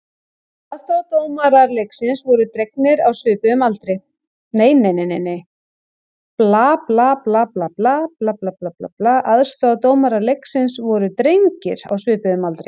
Aðstoðardómarar leiksins voru drengir á svipuðum aldri.